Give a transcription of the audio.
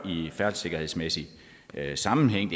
i færdselssikkerhedsmæssig sammenhæng